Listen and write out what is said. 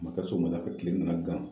Maka sɔ ma kafɛ kile nana gan